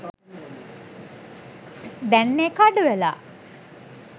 දැං ඒක අඩු වෙලා.